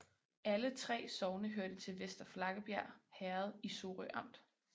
Alle 3 sogne hørte til Vester Flakkebjerg Herred i Sorø Amt